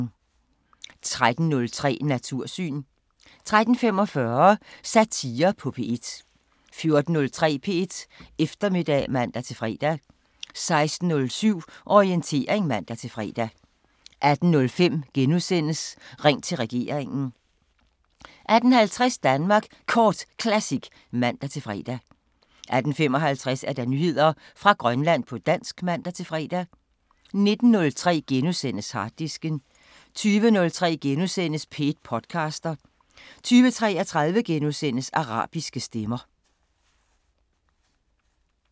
13:03: Natursyn 13:45: Satire på P1 14:03: P1 Eftermiddag (man-fre) 16:07: Orientering (man-fre) 18:05: Ring til regeringen * 18:50: Danmark Kort Classic (man-fre) 18:55: Nyheder fra Grønland på dansk (man-fre) 19:03: Harddisken * 20:03: P1 podcaster * 20:33: Arabiske Stemmer *